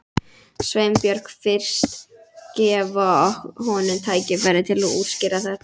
Sveinbjörn fyrst, gefa honum tækifæri til að útskýra þetta.